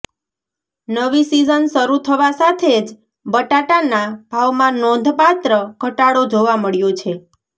નવી સિઝન શરૂ થવા સાથે જ બટાટાના ભાવમાં નોંધપાત્ર ઘટાડો જોવા મળ્યો છે